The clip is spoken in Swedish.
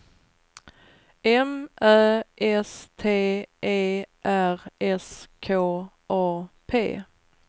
M Ä S T E R S K A P